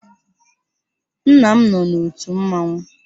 Nna m nọ n'òtù mmanwụ.